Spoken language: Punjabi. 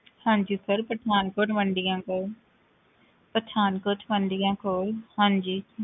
ਹਾਂਜੀ sir ਪਠਾਨਕੋਟ ਮੰਡੀਆ ਕੋਲ ਪਠਾਨਕੋਟ ਮੰਡੀਆ ਕੋਲ ਹਾਂਜੀ